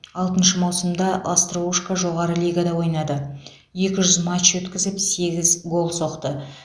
алтыншы маусымда остроушко жоғары лигада ойнады екі жүз матч өткізіп сегіз гол соқты